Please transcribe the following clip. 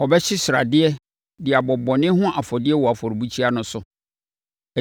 Ɔbɛhye sradeɛ de abɔ bɔne ho afɔdeɛ wɔ afɔrebukyia no so.